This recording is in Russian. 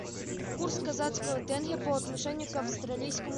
курс казахского тенге по отношению к австралийскому